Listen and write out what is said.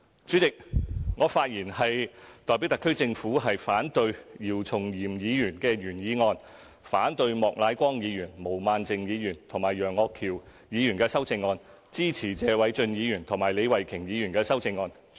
主席，我發言代表特區政府反對姚松炎議員的原議案，反對莫乃光議員、毛孟靜議員和楊岳橋議員的修正案，支持謝偉俊議員和李慧琼議員的修正案。